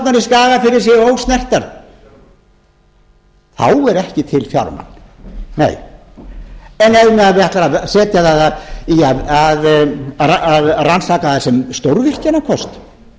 að jökulsárnar í skagafirði séu ósnertar þá er ekki til fjármagn nei en ef við ætlum að setja það í að rannsaka það sem stórvirkjunarkost til